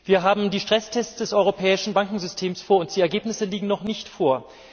Wir haben die Stresstests des europäischen Bankensystems vor uns die Ergebnisse liegen noch nicht vor.